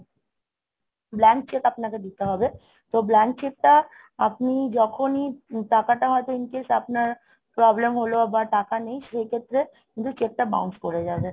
blank cheque আপনাকে দিতে হবে তো blank cheque টা আপনি যখনই টাকাটা হয়তো in case আপনার problem হলো বা টাকা নেই সেই ক্ষেত্রে কিন্তু cheque টা bounce করে যাবে